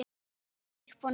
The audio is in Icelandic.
Hef leikið upp og niður.